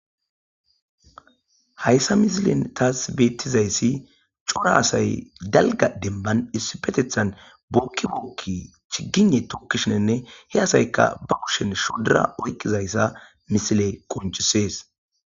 Hayssa misilen taas beettizayssi cora asay galga demban issi petethan bookki bookki chigine tokkishinenne he asayka ba kushen shodura oykqizayssa misile qoncisees.